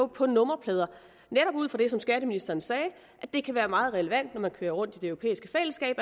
på nummerplader netop ud fra det som skatteministeren sagde at det kan være meget relevant når man kører rundt i det europæiske fællesskab